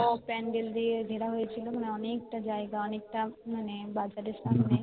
সব প্যান্ডেল দিয়ে ঘেরা হয়েছে বলে অনেক তা যায়গা অনেকটা মানে দাড় gate এর সামনে